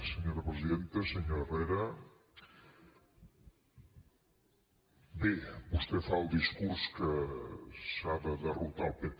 senyor herrera bé vostè fa el discurs que s’ha de derrotar el pp